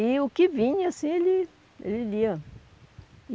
E o que vinha, assim ele, ele lia.